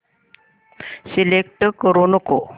select करू नको